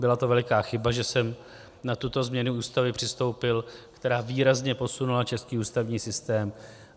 Byla to veliká chyba, že jsem na tuto změnu Ústavy přistoupil, která výrazně posunula český ústavní systém.